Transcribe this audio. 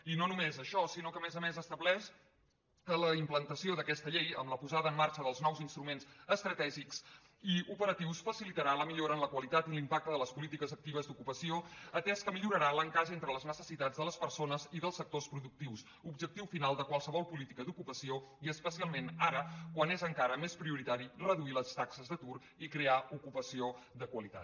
i no només això sinó que a més a més estableix que la implantació d’aquesta llei amb la posada en marxa dels nous instruments estratègics i operatius facilitarà la millora en la qualitat i l’impacte de les polítiques actives d’ocupació atès que millorarà l’encaix entre les necessitats de les persones i dels sectors productius objectiu final de qualsevol política d’ocupació i especialment ara quan és encara més prioritari reduir les taxes d’atur i crear ocupació de qualitat